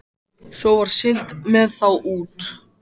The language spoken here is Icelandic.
Svo var siglt með þá út.